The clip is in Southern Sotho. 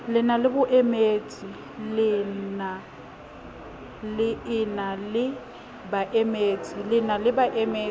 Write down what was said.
le e na le baemedi